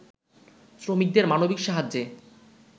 শ্রমিকদের মানবিক সাহায্যে